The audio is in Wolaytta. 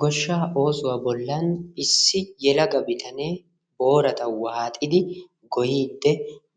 Goshshaa oosuwa bollan issi yelaga bitanee boorata waaxidi goyiyddi